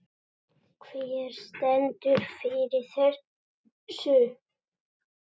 Hver stendur fyrir þessu?